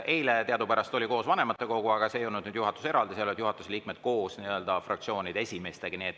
Eile teadupärast oli koos vanematekogu, seal ei olnud juhatus eraldi, seal olid juhatuse liikmed koos fraktsioonide esimeestega.